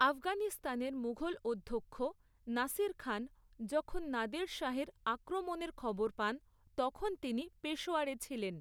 আফগানিস্তানের মুঘল অধ্যক্ষ নাসির খান যখন নাদের শাহের আক্রমণের খবর পান তখন তিনি পেশোয়ারে ছিলেন।